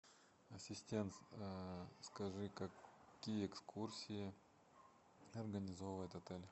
ассистент скажи какие экскурсии организовывает отель